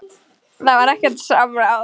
Það var ekkert samráð.